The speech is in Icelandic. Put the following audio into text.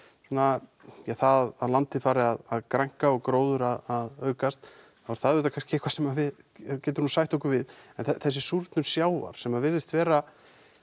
svona ja það að landið fari að grænka og gróður að aukast þá er það auðvitað kannski eitthvað sem við getum nú sætt okkur við en þessi súrnun sjávar sem að virðist vera